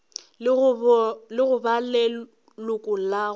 le go ba leloko la